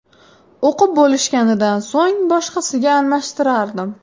O‘qib bo‘lishganidan so‘ng boshqasiga almashtirardim.